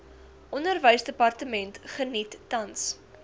onderwysdepartement geniet tans